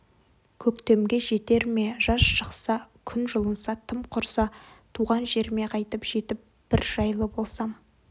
көктемге жетер ме жаз шықса күн жылынса тым құрса туған жеріме қайтып жетіп бір жайлы болсам